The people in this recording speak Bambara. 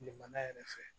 Kile mana yɛrɛ fɛ